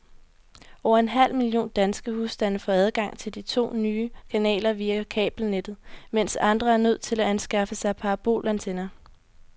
Over en halv million danske husstande får adgang til de to nye kanaler via kabelnettet, mens andre er nødt til at anskaffe sig parabolantenner.